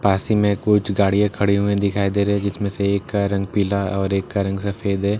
पास ही में कुछ गाड़ियाँ खड़ी हुई दिखाई दे रहे है जिसमे से एक का रंग पीला और एक का रंग सफ़ेद है पीछे --